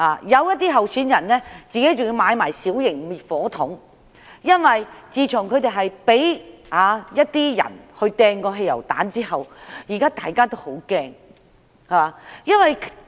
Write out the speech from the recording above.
有些候選人更自行購買小型滅火器，因為他們被一些人投擲過汽油彈，感到很害怕。